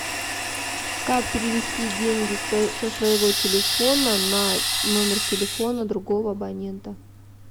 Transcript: как перевести деньги со своего телефона на номер телефона другого абонента